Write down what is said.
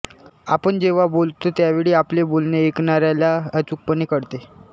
आपण जेव्हा बोलतो त्यावेळी आपले बोलणे ऐकणाऱ्याला अचूकपणे कळते